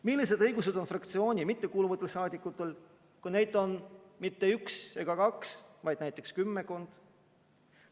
Millised õigused on fraktsiooni mitte kuuluvatel saadikutel, kui neid on mitte üks ega kaks, vaid näiteks kümmekond?